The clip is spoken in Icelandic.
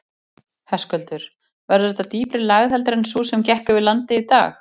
Höskuldur: Verður þetta dýpri lægð heldur en sú sem gekk yfir landið í dag?